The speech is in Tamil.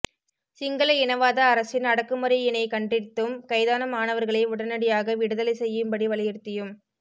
சிங்கள இனவாத அரசின் அடக்குமுறையினைக்கண்டித்தும் கைதான மாணவர்களை உடனடியாகவிடுதலை செய்யும்படி வலியுறுத்தியும்